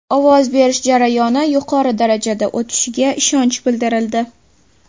Ovoz berish jarayoni yuqori darajada o‘tishiga ishonch bildirildi.